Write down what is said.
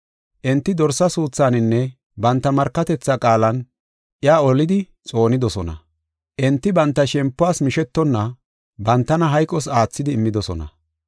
Enti dorsa suuthaaninne banta markatethaa qaalan, iya olidi xoonidosona. Enti banta shempuwas mishetonna bantana hayqos aathidi immidosona.